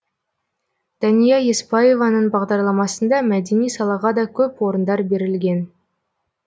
дәния еспаеваның бағарламасында мәдени салаға да көп орындар берілген